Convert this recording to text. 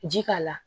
Ji k'a la